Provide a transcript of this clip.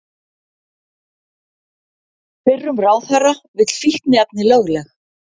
Fyrrum ráðherra vill fíkniefni lögleg